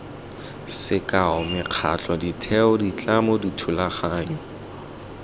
sekao mekgatlho ditheo ditlamo dithulaganyo